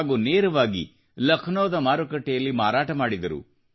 ಹಾಗೂ ನೇರವಾಗಿ ಲಕ್ನೋದ ಮಾರುಕಟ್ಟೆಯಲ್ಲಿ ಮಾರಾಟ ಮಾಡಿದರು